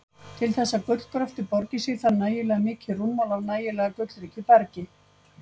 Til þess að gullgröftur borgi sig þarf nægilega mikið rúmmál af nægilega gullríku bergi.